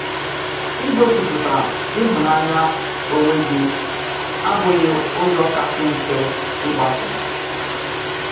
Ìgósíphụ̀tà ìhụ̀nànyà onwe gi àbụ̀ghị ùzọ̀ kasị mfe ígbàsò